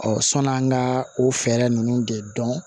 sɔni an ka o fɛɛrɛ ninnu de dɔn